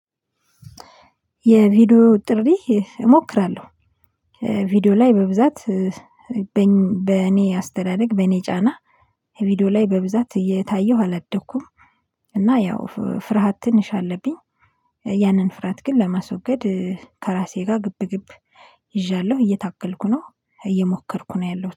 የቪዲዮ ጥሪ እሞክራለሁ። ቪዲዮ ላይ በብዛት። በእኔ አስተዳደግ በእኔ ጫና ቪዲዮ ላይ በብዛት እየታየሁ አላደኩም። እና ያው ፍርሃት ትንሽ አለብኝ። ያንን ፍርሃት ግን ለማስወገድ ከራሴ ጋር ግብግብ ይዣለሁ እየታገልኩ ነው። እየሞከርኩ ነው ያለሁት